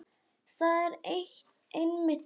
Það er einmitt það.